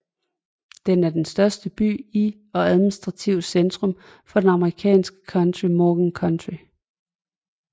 Den er den største by i og administrativt centrum for det amerikanske county Morgan County